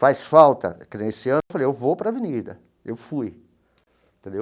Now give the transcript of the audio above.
Faz falta, que nem nesse ano eu falei, eu vou para a Avenida, eu fui, entendeu?